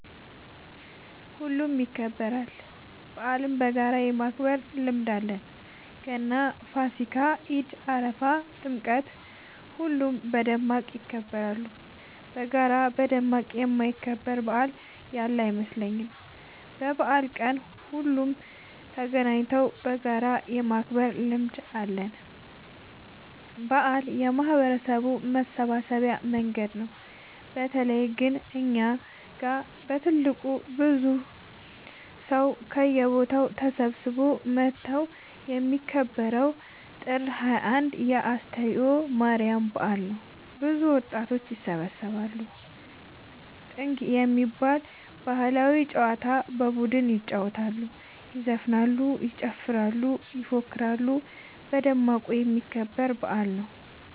ሁሉም ይከበራል። በአልን በጋራ የማክበር ልምድ አለን ገና ፋሲካ ኢድ አረፋ ጥምቀት ሁሉም በደማቅ ይከበራሉ። በጋራ በደማቅ የማይከበር በአል ያለ አይመስለኝም። በበአል ቀን ሁሉም ተገናኘተው በጋራ የማክበር ልምድ አለ። በአል የማህበረሰቡ መሰብሰቢያ መንገድ ነው። በተለይ ግን እኛ ጋ በትልቁ ብዙ ሰው ከየቦታው ተሰብስበው መተው የሚከበረው ጥር 21 የ አስተርዮ ማርያም በአል ነው። ብዙ ወጣት ይሰባሰባሉ። ጥንግ የሚባል ባህላዊ ጨዋታ በቡድን ይጫወታሉ ይዘፍናሉ ይጨፍራሉ ይፎክራሉ በደማቁ የሚከበር በአል ነው።